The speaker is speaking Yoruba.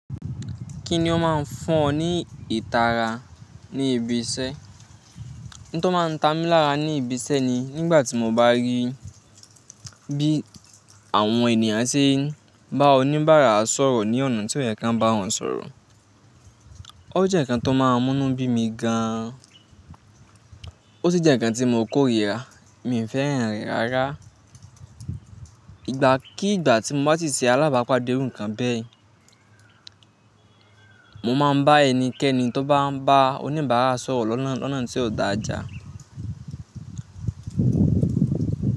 Kí ni o máa ń fọn ní ìtara ní ibi iṣẹ́? Ńtọ́ máa ń ta mi lára ní ibi iṣẹ́ ni nígbà tí mo bá rí bí àwọn ènìyàn ṣe ń bá oníbàárà sọ̀rọ̀ ní ọ̀nà tí kò yẹ kí wọ́n bá wọn sọ̀rọ̀. O jẹ́ ǹkan tó máa ń mú nu bí mi gan an. O si jẹ́ ǹkan tí mo korira, mi fẹ́ràn rẹ̀ rárá. Ìgbà kí ìgbà tí mo bá ti ṣe alábàápàdé irú ǹkan bẹ́ẹ̀, mo máa ń bá ẹnikẹ́ni tó bá ń bá oníbàárà sọ̀rọ̀ lọ́nà tí ò dáa já.